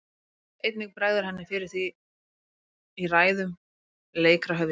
Einnig bregður henni fyrir í ræðum leikra höfðingja.